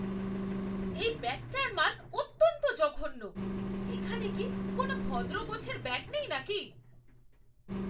এই ব্যাটটার মান অত্যন্ত জঘন্য। এখানে কি কোনো ভদ্র গোছের ব্যাট নেই নাকি?